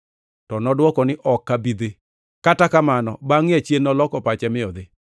“To nodwoko ni, ‘Ok abi dhi.’ Kata kamano bangʼe achien noloko pache mi odhi.